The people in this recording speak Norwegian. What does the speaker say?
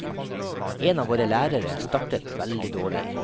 En av våre lærere startet veldig dårlig.